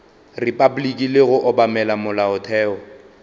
repabliki le go obamela molaotheo